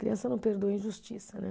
Criança não perdoa injustiça, né?